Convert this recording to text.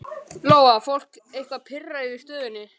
Lóa: Fólk eitthvað pirrað yfir stöðunni?